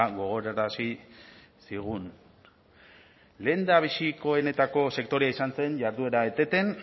gogorarazi zigun lehendabiziko benetako sektorea izan zen jarduera eteten